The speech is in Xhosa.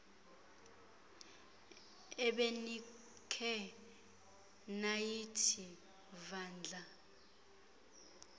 ebenikhe nayithi vandla